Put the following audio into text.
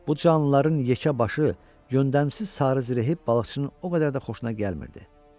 Bu canlıların yekəbaşı, yöndəmsiz sarı zirəhi balıqçının o qədər də xoşuna gəlmirdi.